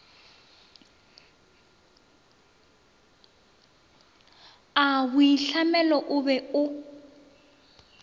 a boitlhamelo o be o